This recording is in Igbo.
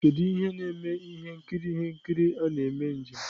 kedu ihe na-eme ihe nkiri ihe nkiri a na-eme njem?